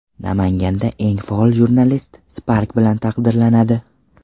Namanganda eng faol jurnalist Spark bilan taqdirlanadi .